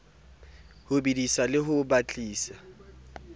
ho bedisa le ho batisa